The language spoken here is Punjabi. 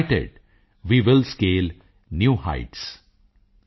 United we will scale new heights